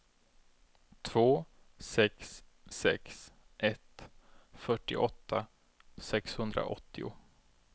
två sex sex ett fyrtioåtta sexhundraåttio